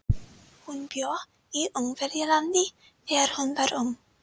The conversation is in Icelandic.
Hún bjó í Ungverjalandi þegar hún var ung.